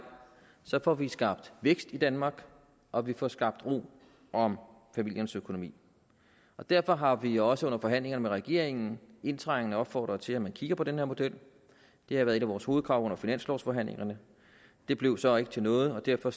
får vi skabt vækst i danmark og vi får skabt ro om familiernes økonomi derfor har vi også under forhandlinger med regeringen indtrængende opfordret til at man kigger på den her model det har været et af vores hovedkrav under finanslovforhandlingerne det blev så ikke til noget og derfor